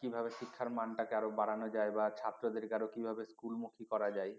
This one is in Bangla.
কিভাবে শিক্ষার মানটাকে আরো বাড়ানো যায় বা ছাত্রদেরকে আরো কিভাবে school মুখী করা যায়